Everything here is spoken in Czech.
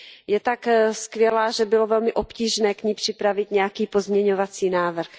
Je tak skvělá, že bylo velmi obtížné k ní připravit nějaký pozměňovací návrh.